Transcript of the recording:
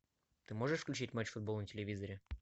ты можешь включить матч футбол на телевизоре